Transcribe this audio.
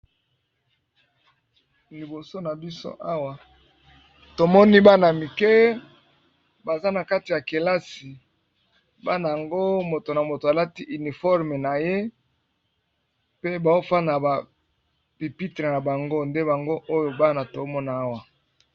Liboso na biso awa tomoni bana mike baza na kati ya kelasi, bana ngo moto na moto alati uniforme na ye pe bao fanda na ba pipitre na bango nde bango oyo bana tomona awa.